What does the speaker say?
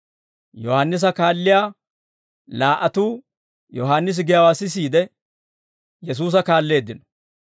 Yohaannisa kaalliyaa laa"atuu Yohaannisi giyaawaa sisiide, Yesuusa kaalleeddino.